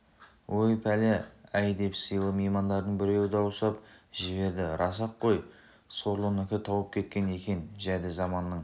ой пәле-ай деп сыйлы меймандардың біреуі дауыстап жіберді рас-ақ қой сорлынікі тауып кеткен екен жәді заманның